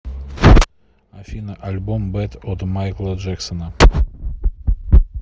афина альбом бэд от майкла джексона